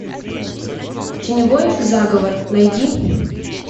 теневой заговор найди